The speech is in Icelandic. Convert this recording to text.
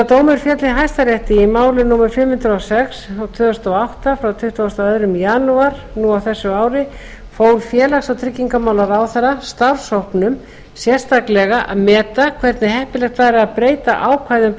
dómur féll í hæstarétti í máli númer fimm hundruð og sex tvö þúsund og átta frá tuttugasta og annan janúar á þessu ári fól félags og tryggingamálaráðherra starfshópnum sérstaklega að meta hvernig heppilegt væri að breyta ákvæðum